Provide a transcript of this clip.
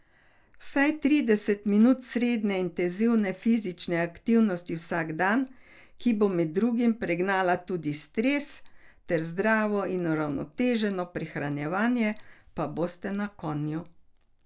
Vsaj trideset minut srednje intenzivne fizične aktivnosti vsak dan, ki bo med drugim pregnala tudi stres, ter zdravo in uravnoteženo prehranjevanje, pa boste na konju!